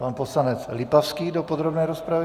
Pan poslanec Lipavský do podrobné rozpravy.